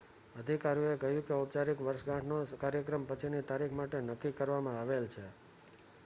અધિકારીઓએ કહ્યું કે ઔપચારિક વર્ષગાંઠનો કાર્યક્રમ પછીની તારીખ માટે નક્કી કરવામાં આવેલ છે